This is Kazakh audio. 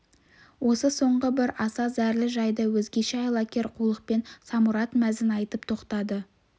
осы соңғы бір аса зәрлі жайды өзгеше айлакер қулықпен самұрат мәзін айтып тоқтады